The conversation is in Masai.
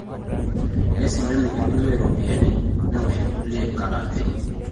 neisilenu irkulie iropiyiani neosh irkulie inkarambeeni